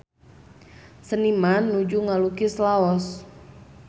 Seniman nuju ngalukis Laos